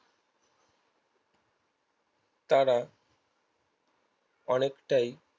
তারা অনেকটাই